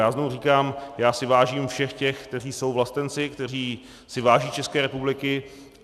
Já znovu říkám, já si vážím všech těch, kteří jsou vlastenci, kteří si váží České republiky.